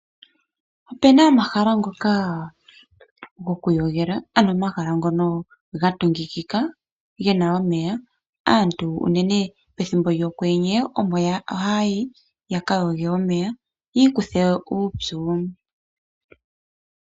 Opuna omahala ngoka gokwiinyanyudha , ano omahala ngoka gatungukika gena omeya. Aantu unene pethimbo lyokwenye omo haya yi, yakayoge omeya, yiikuthe uupyu.